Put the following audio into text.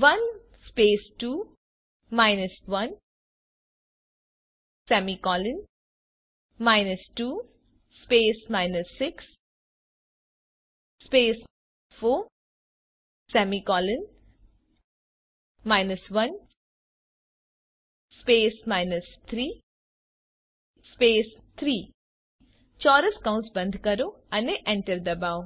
6 4 1 3 3 ચોરસ કૌસ બંધ કરો અને એન્ટર ડબાઓ